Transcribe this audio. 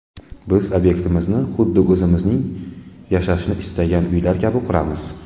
Biz obyektlarimizni, huddi o‘zimiz yashashni istagan uylar kabi quramiz.